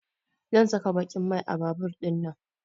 Zan saka baƙin mai a babur ɗinnana